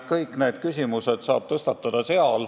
Kõiki neid küsimusi saab seal tõstatada.